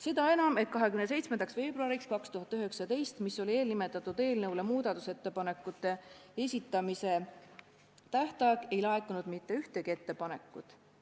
Seda enam, et 27. veebruariks 2019, mis oli eelnimetatud eelnõu kohta muudatusettepanekute esitamise tähtaeg, ei laekunud mitte ühtegi ettepanekut.